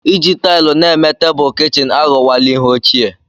Iji taịlị na-eme tebụl kichin aghọwala ihe ochie.